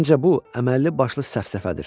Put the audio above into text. Məncə bu əməlli başlı səfsəfədir.